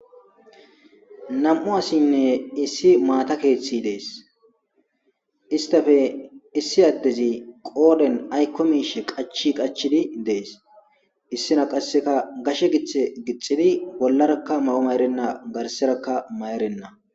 nam7u asinne issi maata keeththi dees istafe issi addezi qooden aykko miishe qachi qachidi dees issina qasseka gashe githe gixxidi bollarakka ma7o mayrenna garserakka may7erenna